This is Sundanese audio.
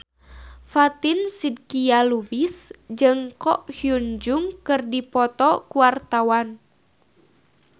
Fatin Shidqia Lubis jeung Ko Hyun Jung keur dipoto ku wartawan